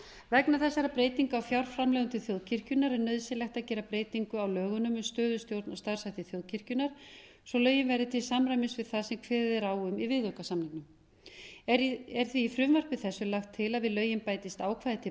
vegna þessara breytinga á fjárframlögum til þjóðkirkjunnar er nauðsynlegt að gera breytingu á lögunum um stöðu og starfshætti þjóðkirkjunnar svo lögin verði til samræmis við það sem kveðið er á um í viðaukasamningnum er því í frumvarpi þessu lagt til að við lögin bætist ákvæði til